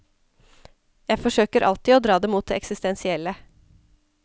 Jeg forsøker alltid å dra det mot det eksistensielle.